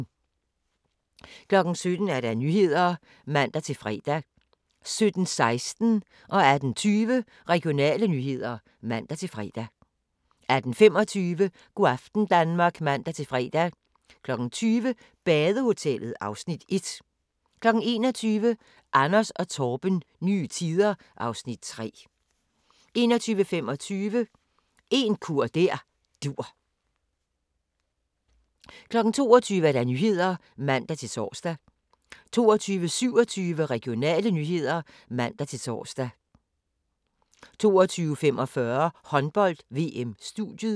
17:00: Nyhederne (man-fre) 17:16: Regionale nyheder (man-fre) 18:20: Regionale nyheder (man-fre) 18:25: Go' aften Danmark (man-fre) 20:00: Badehotellet (Afs. 1) 21:00: Anders & Torben – nye tider (Afs. 3) 21:25: En kur der dur 22:00: Nyhederne (man-tor) 22:27: Regionale nyheder (man-tor) 22:45: Håndbold: VM - studiet (man-tor)